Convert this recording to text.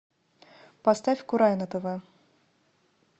поставь курай на тв